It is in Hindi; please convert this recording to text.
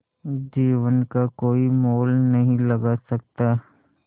जीवन का कोई मोल नहीं लगा सकता